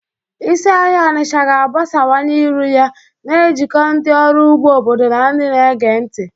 Isi ahịa Onitsha ga-agbasawanye iru ya, na-ejikọ ndị ọrụ ugbo obodo na ndị na-ege ntị.